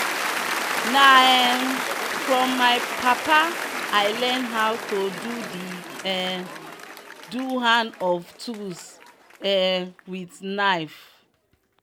na um from my papa i learn how to do the um do hand of tools um with knife